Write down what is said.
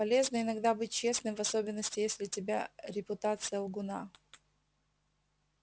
полезно иногда быть честным в особенности если тебя репутация лгуна